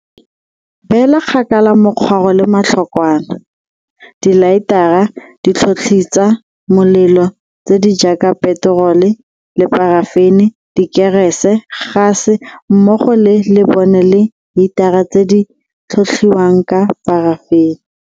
Beela kgakala mokgwaro le matlhokwana, dilaetara, ditlhotlhitsa molelo tse di jaaka peterole le parafene, dikerese, gase mmogo le lebone le hitara tse di tlhotlhiwang ka parafene.